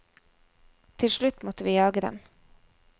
Til slutt måtte vi jage dem.